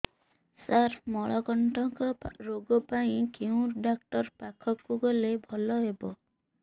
ସାର ମଳକଣ୍ଟକ ରୋଗ ପାଇଁ କେଉଁ ଡକ୍ଟର ପାଖକୁ ଗଲେ ଭଲ ହେବ